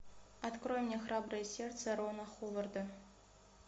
открой мне храброе сердце рона ховарда